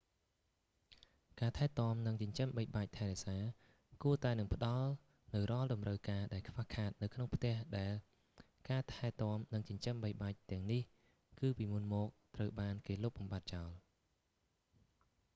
ការថែទាំនិងចិញ្ចឹមបីបាច់ថែរក្សាគួរតែនឹងផ្តល់នូវរាល់តម្រូវការដែលខ្វះខាតនៅក្នុងផ្ទះដែលការថែទាំនិងចិញ្ចឹមបីបាច់ទាំងនេះគឺពីមុនមកត្រូវបានគេលុបបំបាត់ចោល